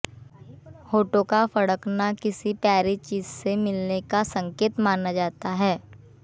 होंठों का फडकना किसी प्यारी चीज से मिलनें का संकेत माना जाता है